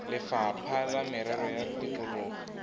lefapha la merero ya tikologo